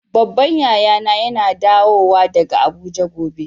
Babban yaya na yana dawo daga Abuja gobe.